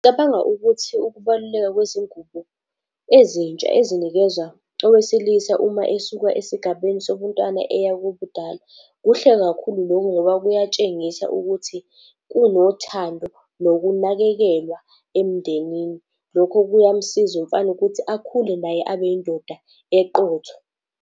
Ngicabanga ukuthi ukubaluleka kwezingubo ezintsha ezinikezwa owesilisa uma esuka esigabeni sobuntwana eya kubudala, kuhle kakhulu lokhu ngoba kuyatshengisa ukuthi kunothando, nokunakekelwa emndenini. Lokhu kuyamsiza umfana ukuthi akhule naye abe indoda eqotho.